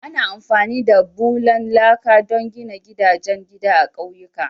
Ana amfani da bulan laka don gina gidajen gida a ƙauyuka.